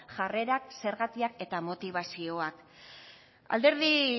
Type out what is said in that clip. jarrerak zergatik eta motibazioak alderdi